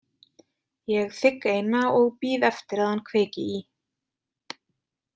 Ég þigg eina og bíð eftir að hann kveiki í.